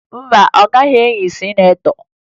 Mba, ọ gaghị eyi sinetọ